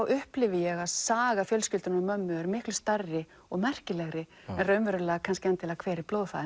upplifi ég að saga fjölskyldunnar og mömmu er miklu stærri og merkilegri en raunverulega hver er